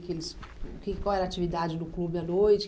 o que eles... que... Qual era a atividade do clube à noite?